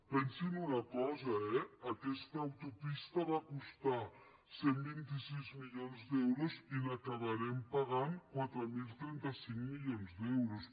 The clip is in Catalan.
pensin una cosa eh aquesta autopista va costar cent i vint sis milions d’euros i acabarem pagant quatre mil trenta cinc milions d’euros